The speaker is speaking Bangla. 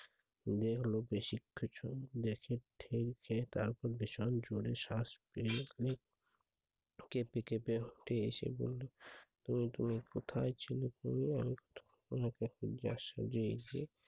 উড়ে এলো বেশি কিছু দেখে ঠেনকে তারপর ভীষণ জোরে শ্বাস পেরিয়ে গেলো বের হতে এসে বললো তুমি তুমি কোথায় ছেড়ে পড়লে, আমি তো তোমাকে সোজাসুজি এসে